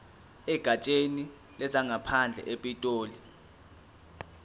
egatsheni lezangaphandle epitoli